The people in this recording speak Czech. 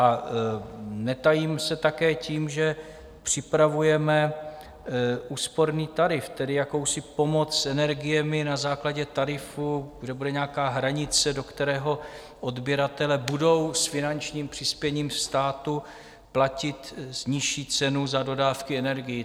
A netajím se také tím, že připravujeme úsporný tarif, tedy jakousi pomoc s energiemi na základě tarifu, kde bude nějaká hranice, do kterého odběratele budou s finančním přispěním státu platit nižší cenu za dodávky energií.